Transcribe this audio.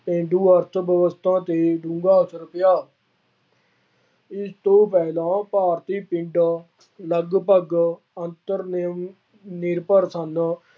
ਪੇਂਡੂ ਅਰਥਵਿਵਸਥਾ ਤੇ ਬੁਰਾ ਅਸਰ ਪਿਆ। ਇਸ ਤੋਂ ਪਹਿਲਾਂ ਭਾਰਤੀ ਪਿੰਡ ਲਗਭਗ ਅੰਤਰ-ਨਿਯਮਿਤ ਅਮੀਰ ਭਰ ਸਨ।